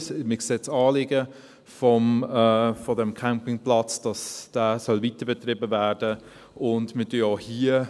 Wir sehen das Anliegen, dass dieser Campingplatz weiterbetrieben werden soll, und wir werden auch hier …